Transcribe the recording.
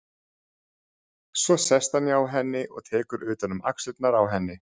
Svo sest hann hjá henni og tekur utan um axlirnar á henni.